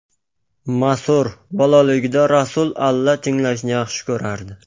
Masrur : Bolaligida Rasul alla tinglashni yaxshi ko‘rardi.